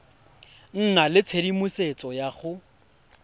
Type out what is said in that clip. nna le tshedimosetso ya go